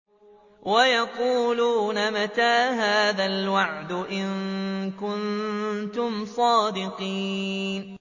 وَيَقُولُونَ مَتَىٰ هَٰذَا الْوَعْدُ إِن كُنتُمْ صَادِقِينَ